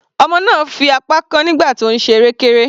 Ọmọ náà fi apá kán nígbà tí ó ń ṣe erékéré.